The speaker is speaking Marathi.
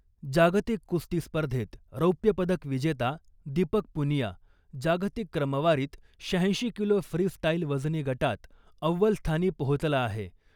जागतिक कुस्ती स्पर्धेत रौप्यपदक विजेता दीपक पुनिया , जागतिक क्रमवारीत शहाऐंशी किलो फ्री स्टाईल वजनी गटात अव्वल स्थानी पोहोचला आहे .